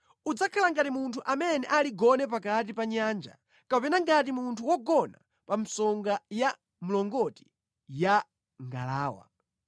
Udzakhala ngati munthu amene ali gone pakati pa nyanja, kapena ngati munthu wogona pa msonga ya mlongoti ya ngalawa.